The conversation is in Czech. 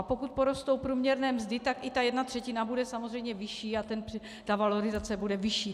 A pokud porostou průměrné mzdy, tak i ta jedna třetina bude samozřejmě vyšší a ta valorizace bude vyšší.